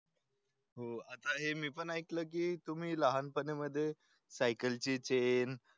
. हो आहे मी पण ऐकलं की तुम्ही लहानपणी मध्ये सायकलची चेन